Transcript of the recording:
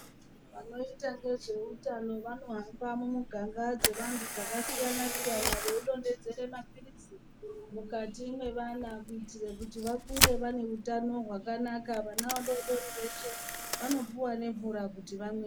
Vanoita ngezveutano vanohamba mumuganga dzevantu vakasiyana siyana veidonhedzera mapirizi mukati mevana kuitire kuti vakure vaine hutano hwakanaka, vana vadodori veshe vanopiwa nemvura kuti vamwe.